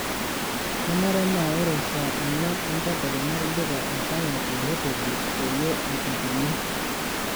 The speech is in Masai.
kenare naa ore saa onguan entedekenya idipa aipanga te hoteli peyie eutukuni